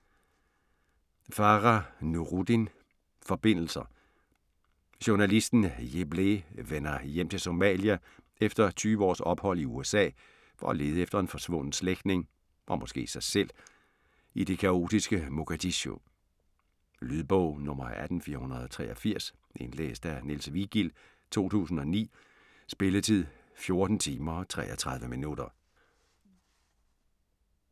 Farah, Nuruddin: Forbindelser Journalisten Jeebleh vender hjem til Somalia efter tyve års ophold i USA for at lede efter en forsvunden slægtning - og måske sig selv - i det kaotiske Mogadishu. Lydbog 18483 Indlæst af Niels Vigild, 2009. Spilletid: 14 timer, 33 minutter.